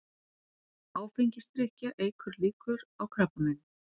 Áfengisdrykkja eykur líkur á krabbameini